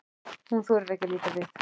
Hún þorir ekki að líta við.